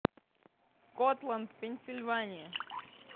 скотланд пенсильвания